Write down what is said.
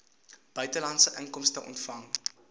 buitelandse inkomste ontvang